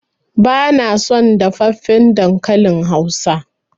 Bana son dafaffen dankalin hausa.